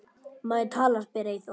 Má ég tala? spyr Eyþór.